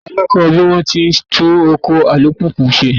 Ta ló kọ́ ọ bí wón ti ń tún ọkọ̀ alùpùpù ṣe?